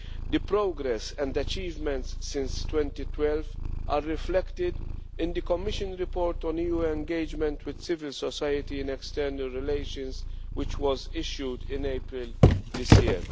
The progress and achievements since 2012 are reflected in the Commission's report on EU engagement with civil society in external relations, which was issued in April this year.